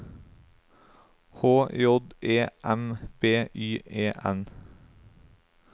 H J E M B Y E N